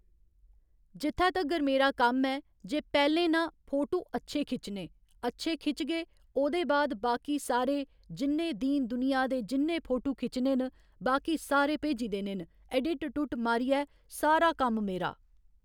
जित्थै तगर मेरा कम्म ऐ जे पैह्‌लें नां फोटू अच्छे खिच्चने अच्छे खिचगे ओह्दे बाद बाकी सारे जिन्ने दीन दुनिया दे जिन्ने फोटू खिच्चने न बाकी सारे भेजी देने न ऐडिट उडिट मारियै सारा कम्म मेरा